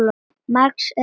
Margs er að sakna.